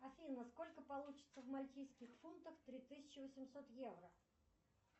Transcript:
афина сколько получится в мальтийских фунтах три тысячи восемьсот евро